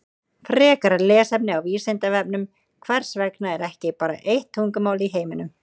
Frekara lesefni á Vísindavefnum Hvers vegna er ekki bara eitt tungumál í heiminum?